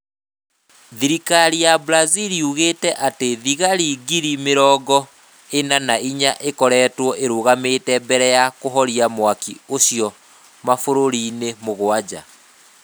Thirikari ya Brazil yugĩte atĩ thigari giri mĩrogo ĩna na inya nĩ ikoretwo irũgamĩte mbere ya kũhoria mwaki ũcio mabũrũri-inĩ mũgwanja.